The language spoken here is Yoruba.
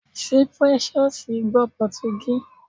Ṣé Precious gbọ́ Pọtugí?